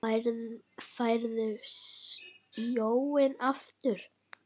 Færð sjónina aftur.